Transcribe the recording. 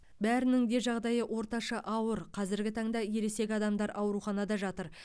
бәрінің де жағдайы орташа ауыр қазіргі таңда ересек адамдар ауруханада жатыр